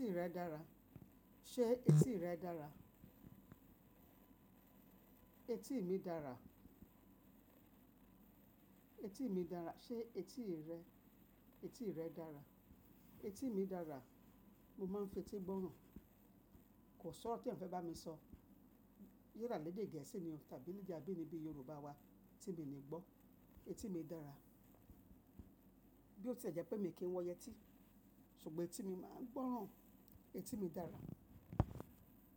Etí rẹ dára. Ṣé etí rẹ dára? Etí mi dára. Etí mi dára. Ṣé etí rẹ, etí rẹ dára? Etí mi dára, mo máa ń fetí gbọ́ràn. Kò sọ̀rọ̀ tí eeyan fẹ́ bá mi sọ, ya la lédè gẹ̀ẹ́sì ni o tàbí ni bi abínibí Yorùbá wa tí mi ní gbọ́. Etí mi dára. Bí ó ti jẹ́ pé mi kì í wọn yẹtí, ṣùgbọ́n etí mi máa ń gbọ́ràn. Etí mi dára.